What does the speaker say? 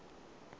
go ya ka kgetse ka